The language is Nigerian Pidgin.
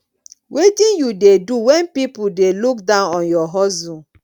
wetin you dey do when people dey look down on your hustle